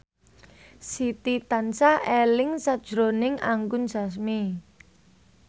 Siti tansah eling sakjroning Anggun Sasmi